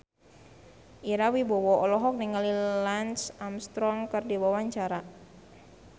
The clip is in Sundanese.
Ira Wibowo olohok ningali Lance Armstrong keur diwawancara